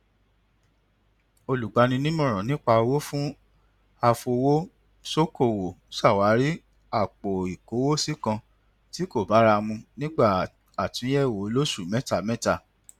olùgbanimọràn nípa owó fún afowósókòwò ṣàwárí àpoìkówósí kan tí kò bára mu nígbà àtúnyẹwò olóṣù mẹtamẹta